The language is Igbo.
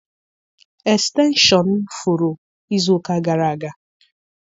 Estenshọn m furu izu ụka gara aga.